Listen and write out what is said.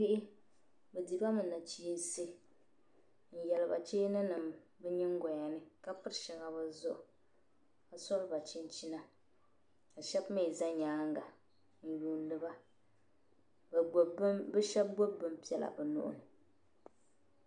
Bihi bi dihibami nachiinsi n yaliba cheeni nima bi nyingoyani kapiri shaŋa bizuɣuni ka soli a chinchina, kashab mi zɛ nyaaŋa, n yuuniba bi shab gbubi bin pɛla bi nuhini.